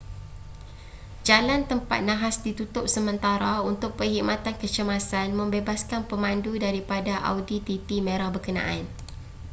jalan tempat nahas ditutup sementara untuk perkhidmatan kecemasan membebaskan pemandu daripada audi tt merah berkenaan